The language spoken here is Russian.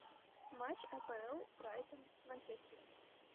матч апл брайтон с манчестером